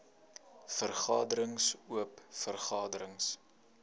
vergaderings oop vergaderings